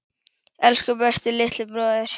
Elsku besti litli bróðir.